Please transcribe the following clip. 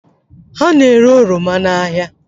Ha na-ere oroma n'ahịa